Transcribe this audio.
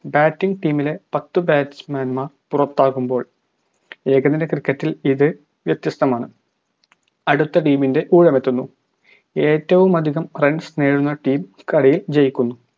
batting team ലെ പത്ത് batsman മാർ പുറത്താകുമ്പോൾ ഏകദിന cricket ഇൽ ഇത് വ്യത്യസ്തമാണ് അടുത്ത team ൻറെ ഊഴമെത്തുന്നു ഏറ്റവും അതികം runs നേടുന്ന team കളി ജയിക്കുന്നു